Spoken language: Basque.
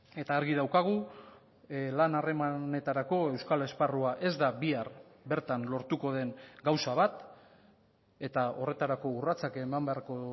eta argi daukagu lan harremanetarako euskal esparrua ez da bihar bertan lortuko den gauza bat eta horretarako urratsak eman beharko